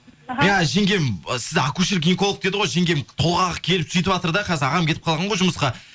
жеңгем сізді акушер гинеколог деді ғой жеңгем толғағы келіп сөйтіватыр да қазір ағам кетіп қалған ғой жұмысқа